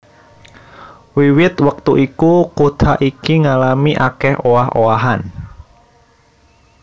Wiwit wektu iku kutha iki ngalami akèh owah owahan